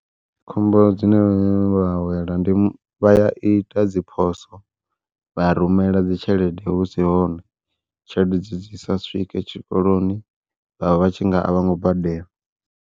Khombo dzine vha wela ndi vha ya ita dzi phoswo vha rumela dzi tshelede husi hone, tshelede dzi dzi sa swike tshikoloni vhavha vhatshi nga a vhongo badela.